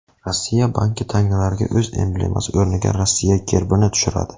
Rossiya banki tangalarga o‘z emblemasi o‘rniga Rossiya gerbini tushiradi.